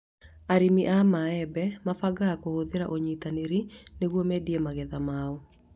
Arĩmi a maembe mebangaga kũhĩtũkĩra ũnyitanĩri nĩguo mendie magetha mao